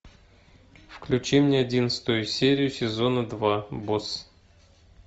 включи мне одиннадцатую серию сезона два босс